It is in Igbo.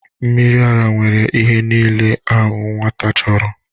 Mmiri ara nwere ihe niile ahụ nwata chọrọ